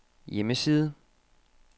hjemmeside